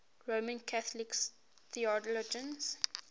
roman catholic theologians